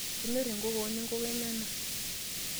Kenyorr enkokoo noo nenkoko enyana.